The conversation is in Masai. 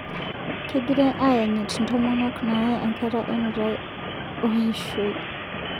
Kegirai ayanyit ntomonok naaye enkata e nutai o eshoi